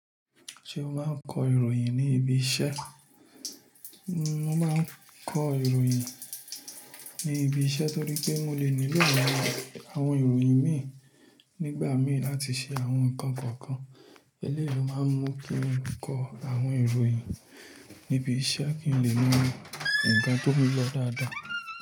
Ṣé o máa ń kọ ìròyìn ní ibi iṣẹ́? N o máa ń kọ ìròyìn ní ibi iṣẹ́ torí pé mo lè nílò àwọn ìròyìn mii nígbà mìí láti ṣe àwọn ǹkan kọ̀ọ̀kan. Eleyii lo máa ń mú kí n kọ àwọn ìròyìn níbi iṣẹ́ kí n lè mo nkan tó nlọ dáadáa.